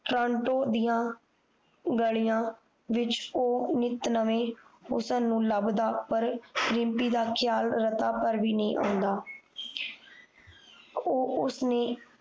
Toronto ਦੀਆਂ ਗਲ਼ੀਆਂ ਵਿੱਚ ਉਹ ਨਿਤ ਨਵੇਂ ਹੁਸਨ ਨੂੰ ਲੱਬਦਾ ਪਰ ਰਿਮਪੀ ਦਾ ਖ਼ਿਆਲ ਰਤਾ ਭਰ ਵੀ ਨੀ ਆਉਂਦਾ ਉਹ ਉਸ ਨੇ